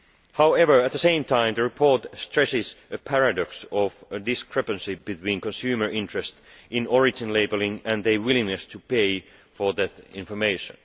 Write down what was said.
However, at the same time, the report stresses the paradox of a discrepancy between consumer interest in origin labelling and their willingness to pay for that information.